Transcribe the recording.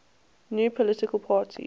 new political party